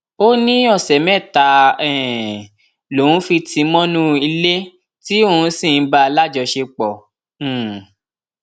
ó ní ọsẹ mẹta um lòun fi tì í mọnú ilé tí òun sì ń bá a láṣepọ um